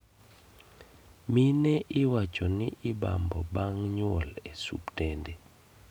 Mine iwacho ni ibambo bang' nyuol e osuptende